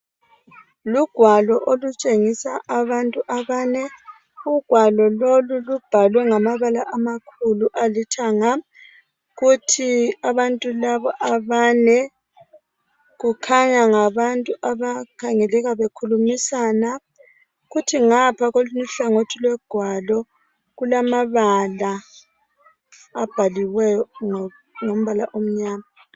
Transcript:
Lugwalo okutshengisa abantu abane. Ugwalo lolu lubhalwe ngamabala amakhulu alithanga, kuthi abantu laba abane kukhanya ngabantu abakhangeleka bekhulumisana. Kuthi ngapha koluny' uhlangothi logwalo kulamabala abhaliweyo ngombala omnyama.